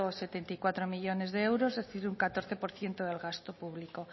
setenta y cuatro millónes de euros es decir un catorce por ciento del gasto público